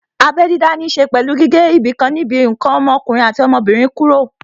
Abẹ́ dídá ní ṣe pẹ̀lú gígé ibìkan níbi ǹkan ọmọkùnrin àti ọmọbìnrin kúrò